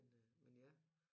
Men øh men ja